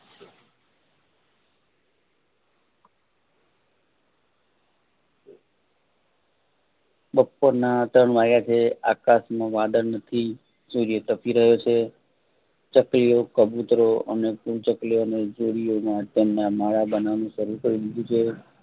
બપોરના ત્રણ વાગ્યા છે આકાશમાં વાદળ નથી સૂર્ય તપી રહ્યો છે ચકલીઓ કબુતરો અને ચકલીઓની જોડીઓમાં તેમના માળા બનાવવાનું શરૂ કરીદી દીધું છે.